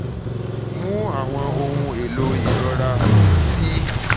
mu awọn ohun-elo irora ti um o rọrun bi paracetamol tabi ibuprofen